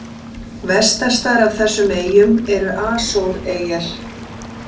Vestastar af þessum eyjum eru Asóreyjar.